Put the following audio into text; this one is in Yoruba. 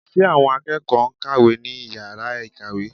Ṣe àwọn akẹ́kọ̀ọ́ ń kàwé ní yàrá ìkàwé?